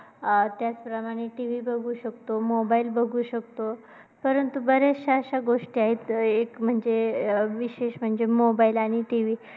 अं त्याचप्रमाणे TV बघू शकतो, mobile बघू शकतो. परंतु बऱ्याचशा अशा गोष्टी आहेत एक म्हणजे mobile आणि TV.